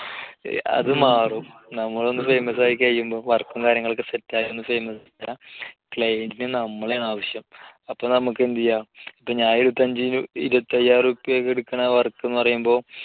അതു മാറും. നമ്മൾ ഒന്ന് famous ആയി കഴിയുമ്പോൾ work ഉം കാര്യങ്ങളുമൊക്കെ set ആയി ഒന്ന് famous client ന് നമ്മളെയാണാവശ്യം. അപ്പോൾ നമുക്ക് എന്തു ചെയ്യാം, ഇപ്പോൾ ഞാൻ ഇരുപത്തഞ്ച്~ഇരുപത്തയ്യായിരം ഉറുപ്പികയ്ക്ക് എടുക്കുന്ന work എന്നു പറയുമ്പോൾ